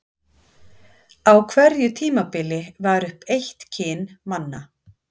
Á hverju tímabili var uppi eitt kyn manna.